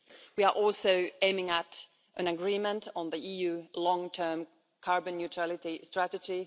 We are also aiming at an agreement on the EU long term carbon neutrality strategy.